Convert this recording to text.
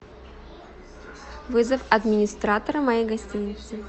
вызов администратора моей гостиницы